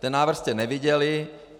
Ten návrh jste neviděli.